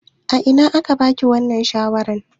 A ina aka ba ki wannan shawarar?